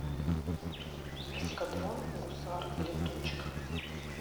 эскадрон гусар летучих